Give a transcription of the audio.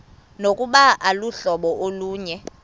nokuba aluhlobo lunye